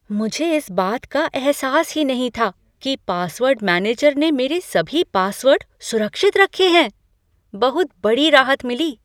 मुझे इस बात का एहसास नहीं था कि पासवर्ड मैनेजर ने मेरे सभी पासवर्ड सुरक्षित रखे हैं। बहुत बड़ी राहत मिली!